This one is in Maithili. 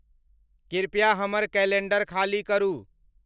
कृपया हमर कैलेन्डर खाली करू